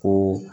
Ko